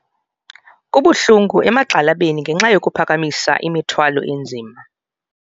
Kubuhlungu emagxalabeni ngenxa yokuphakamisa imithwalo enzima.